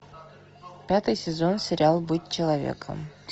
пятый сезон сериал быть человеком